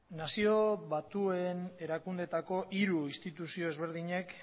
nazio batuen erakundeetako hiru instituzio ezberdinek